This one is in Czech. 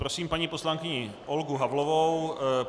Prosím paní poslankyni Olgu Havlovou.